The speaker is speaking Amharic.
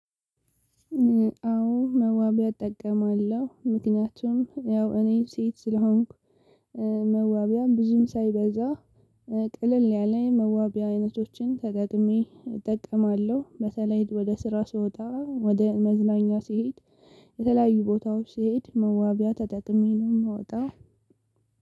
አዎ መዋቢያ እጠቀማለሁ። ምክንያቱም ያው እኔ ሴት ስለሆንኩ መዋቢያ ብዙም ሳይበዛ ቀለል ያለ መዋቢያ አይነቶችን ተጠቅሜ እጠቀማለሁ። በተለይ ወደ ስራ ስወጣ ወደ መዝናኛ ስሄድ የተለያዩ ቦታዎች ስሄድ መዋቢያ ተጠቅሜ ነው የምወጣው